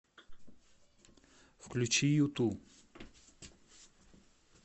включи юту